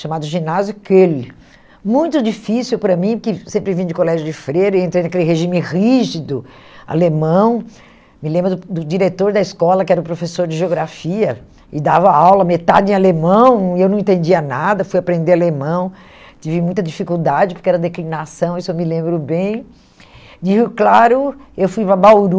chamado Ginásio Kehl, muito difícil para mim, porque sempre vim de colégio de freira, entrei naquele regime rígido, alemão, me lembro do do diretor da escola, que era o professor de geografia, e dava aula metade em alemão, e eu não entendia nada, fui aprender alemão, tive muita dificuldade, porque era declinação, isso eu me lembro bem, digo claro, eu fui para Bauru,